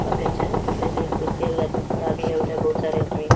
काफी अच्छा है। खड़ा भी है। उधर बहोत सारे आदमी --